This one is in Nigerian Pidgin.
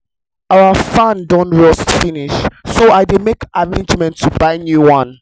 our fan don rust finish so i dey make arrangements to buy new one